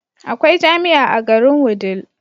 Akwai jamia a garin wudil